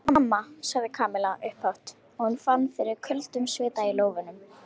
Mamma sagði Kamilla upphátt og hún fann fyrir köldum svita í lófunum.